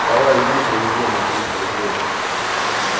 давай игру проведём на триста рублей